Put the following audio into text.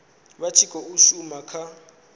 vha tshi khou shuma kha